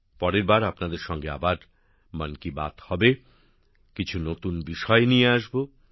পরের বার আপনাদের সঙ্গে আবার মন কি বাত হবে কিছু নতুন বিষয় নিয়ে আসবো